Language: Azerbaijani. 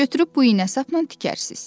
Götürüb bu iynə sapla tikərsiz.